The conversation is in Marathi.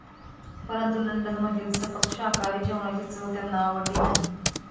परंतु लंडन मधील सपक शाकाहारी जेवणाची चव त्यांना आवडली नाही.